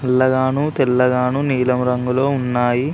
నల్లగాను తెల్లగాను నీలం రంగులో ఉన్నాయి.